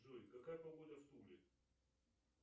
джой какая погода в туле